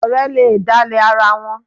Ọ̀rẹ́ le dálẹ̀ ara wọn.